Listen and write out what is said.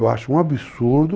Eu acho um absurdo